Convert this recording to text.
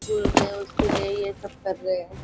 School में उसके लिए ये सब कर रहे है।